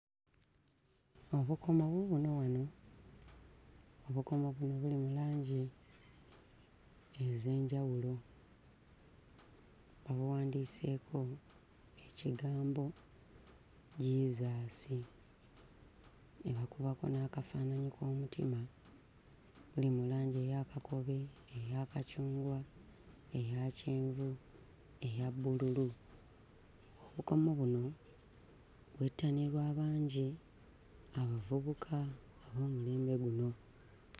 Obukomo buubuno wano. Obukomo buno buli mu langi ez'enjawulo. Babuwandiiseeko ekigambo Jesus ne bakubako n'akafaananyi k'omutima. Buli mu langi eya kakobe, eya kacungwa, eya kyenvu, eya bbululu. Obukomo buno bwettanirwa bangi, abavubuka ab'omulembe guno.